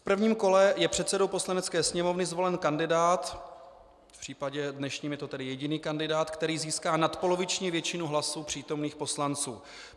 V prvním kole je předsedou Poslanecké sněmovny zvolen kandidát, v případě dnešním je to tedy jediný kandidát, který získá nadpoloviční většinu hlasů přítomných poslanců.